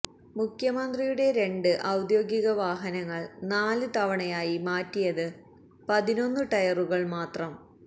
മുഖ്യമന്ത്രിയുടെ രണ്ട് ഔദ്യോഗിക വാഹനങ്ങൾ നാല് തവണയായി മാറ്റിയത് പതിനൊന്നു ടയറുകൾ മാത്രം